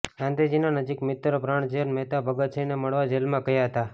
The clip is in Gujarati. ગાંધીજીના નજીકના મિત્ર પ્રાણજીવન મહેતા ભગતસિંહને મળવા જેલમાં ગયા હતા